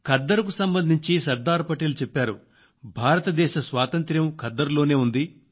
ఖద్దరుకు సంబంధించి సర్దార్ పటేల్ చెప్పారు భారతదేశ స్వాతంత్ర్యం ఖద్దరులోనే ఉంది